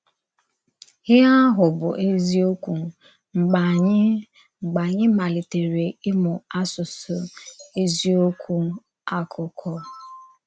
Íhè ahụ bụ ézíòkwù mgbe ànyì mgbe ànyì malìtèrè ịmụ̀ àsụsụ ézíòkwù àkụ́kọ̀.